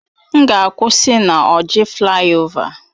M ga-akwụsị na Orji flayova